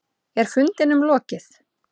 Er fundinum lokið?